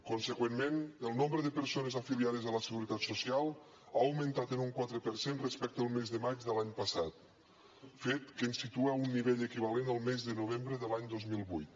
consegüentment el nombre de persones afiliades a la seguretat social ha augmentat un quatre per cent respecte al mes de maig de l’any passat fet que ens situa a un nivell equivalent al mes de novembre de l’any dos mil vuit